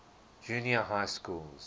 junior high schools